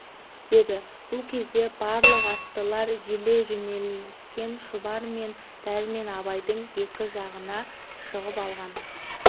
деді бұл кезде барлық аттылар желе жөнеліскен шұбар мен дәрмен абайдың екі жағына шығып алған